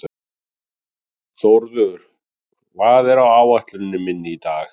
Þórður, hvað er á áætluninni minni í dag?